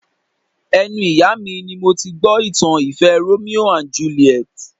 Ẹnu ìyá mi ni mo ti gbọ́ ìtàn ìfẹ́ Romeo and Juliet